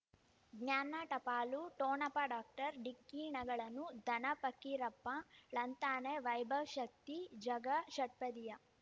ಜ್ಞಾನ ಟಪಾಲು ಠೋಣಪ ಡಾಕ್ಟರ್ ಢಿಕ್ಕಿ ಣಗಳನು ಧನ ಫಕೀರಪ್ಪ ಳಂತಾನೆ ವೈಭವ್ ಶಕ್ತಿ ಝಗಾ ಷಟ್ಪದಿಯ